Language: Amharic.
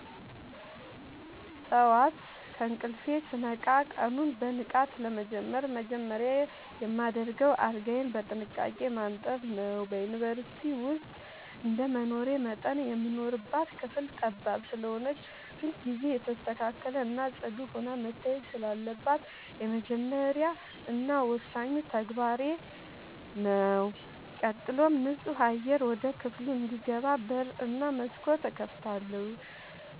ጠዋት ከእንቅልፌ ስነቃ ቀኑን በንቃት ለመጀመር መጀመሪያ የማደርገው አልጋዬን በጥንቃቄ ማንጠፍ ነዉ። በዩንቨርስቲ ዉስጥ እንደመኖሬ መጠን የምንኖርባት ክፍል ጠባብ ስለሆነች ሁልጊዜ የተስተካከለ እና ፅዱ ሆና መታየት ስላለባት የመጀመሪያ እና ወሳኙ ተግባሬ ተግባሬ ነዉ። ቀጥሎም ንፁህ አየር ወደ ክፍሉ እንዲገባ በር እና መስኮት እከፍታለሁ